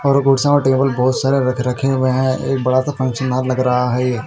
और कुर्सिया और टेबल बहोत सारे रख रखे हुए हैं और बड़ा सा फंक्शन यहाँ लग रहा है।